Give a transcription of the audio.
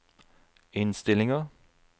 innstillinger